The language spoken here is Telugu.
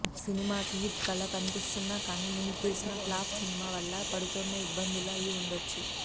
సినిమాకి హిట్ కళ కనిపిస్తున్నా కానీ ముందు తీసిన ఫ్లాప్ సినిమా వల్ల పడుతోన్న ఇబ్బందులు అయి ఉండొచ్చు